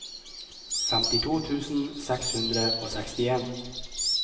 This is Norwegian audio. femtito tusen seks hundre og sekstien